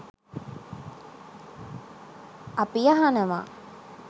අපි අහනව